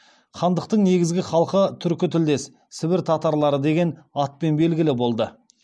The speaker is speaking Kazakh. хандықтың негізгі халқы түркі тілдес сібір татарлары деген атпен белгілі болды